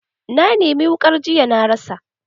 Na nemi wukar jiya na rasa.